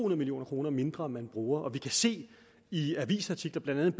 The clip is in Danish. million kroner mindre man bruger og vi kan se i avisartikler blandt andet